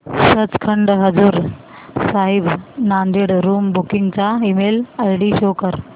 Sachkhand Hazur Sahib Nanded room booking चा email ID show कर